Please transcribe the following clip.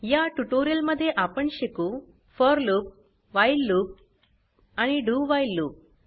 या ट्यूटोरियल मध्ये आपण शिकू फोर लूप व्हाईल लूप आणि dowhile लूप